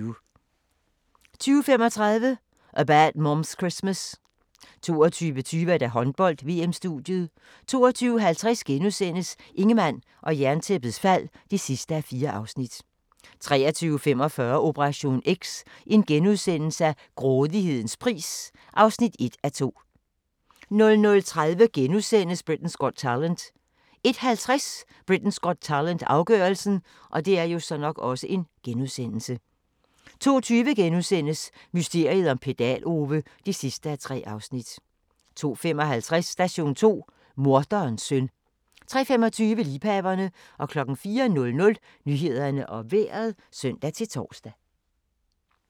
20:35: A Bad Moms Christmas 22:20: Håndbold: VM-studiet 22:50: Ingemann og Jerntæppets fald (4:4)* 23:45: Operation X: Grådighedens pris (1:2)* 00:30: Britain's Got Talent * 01:50: Britain's Got Talent - afgørelsen 02:20: Mysteriet om Pedal-Ove (3:3)* 02:55: Station 2: Morderens søn 03:25: Liebhaverne 04:00: Nyhederne og Vejret (søn-tor)